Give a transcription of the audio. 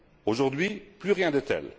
Aujourd'hui, plus rien de tel.